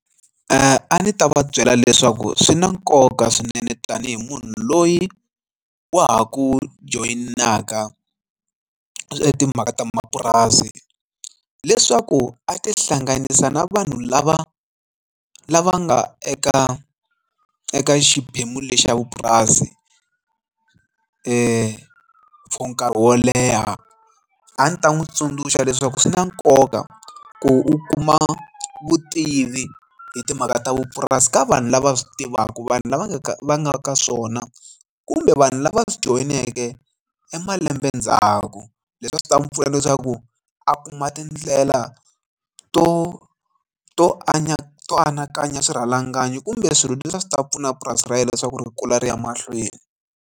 A ndzi ta va byela leswaku swi na nkoka swinene tanihi munhu loyi wa ha ku joyinaka timhaka ta mapurasi leswaku a tihlanganisa na vanhu lava lava nga eka eka xiphemu lexi xa vupurasi for for nkarhi wo leha a ndzi ta n'wi tsundzuxa leswaku swi na nkoka ku u kuma vutivi hi timhaka ta vupurasi ka vanhu lava swi tivaka vanhu lava nga ka va nga ka swona kumbe vanhu lava swi joyineke e malembe ndzhaku leswi va swi ta n'wi pfuna leswaku a kuma tindlela to to abantu anakanya swirhalanganyi kumbe swilo leswi a swi ta pfuna purasi ra yena leswaku ri kula ri ya mahlweni.